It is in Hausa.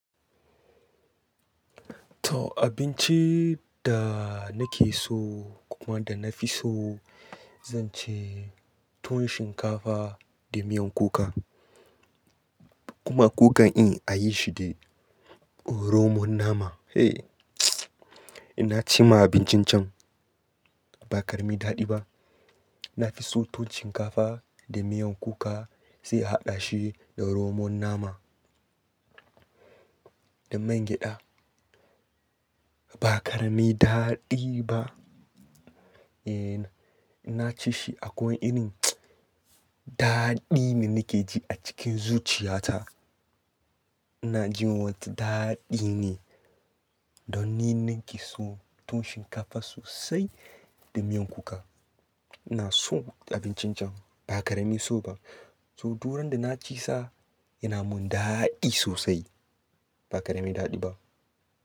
To abinci da nake so kuma da na fi so, zan ce tuwon shinkafa da miyan kuka. Kuma kukan in a yi shi da romon nama. Eh, ina ci ma abincin can. Ba karemin daɗi ba. Na fi son tuwon shinkafa da miyan kuka sai a haɗa shi da romon nama da miya gyada. Ba kare me daɗi ba. Eh, ina ci shi akwai irin daɗi me nake ji a cikin zuciyata. Ina ji wata daɗi ne don ni ninki so tuwon shinkafa sosai da miyan kuka. Ina so abincin can ba kare me so ba. To, duk rana da na ci sa yana mun daɗi sosai. Ba kare me daɗi ba.